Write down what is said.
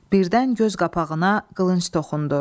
Birdən göz qapağıma qılınc toxundu.